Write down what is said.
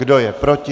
Kdo je proti?